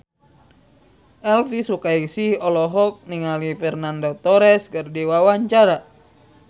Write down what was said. Elvi Sukaesih olohok ningali Fernando Torres keur diwawancara